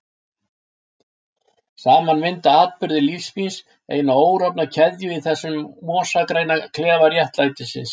Saman mynda atburðir lífs míns eina órofna keðju í þessum mosagræna klefa réttlætisins.